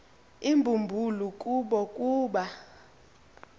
imbumbulu kubo kuba